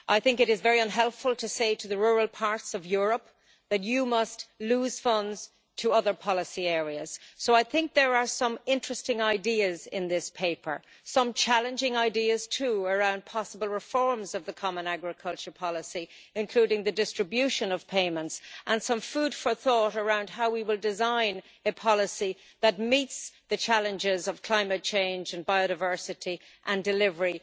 It is very unhelpful to say to the rural parts of Europe that they must lose funds to other policy areas. There are some interesting ideas in this paper, and some challenging ideas too around possible reforms of the common agricultural policy, including the distribution of payments, and some food for thought around how we will design a policy that meets the challenges of climate change and biodiversity and delivery.